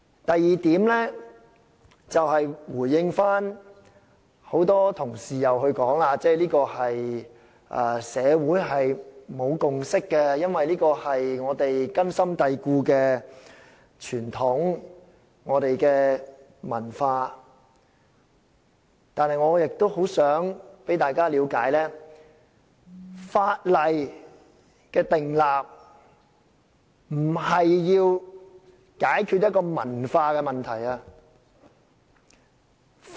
第二點，回應很多同事說社會沒有共識，因為這是我們根深蒂固的傳統文化，我想大家了解，訂立法例不是要解決文化問題。